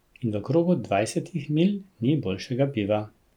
Pela in pela in pela.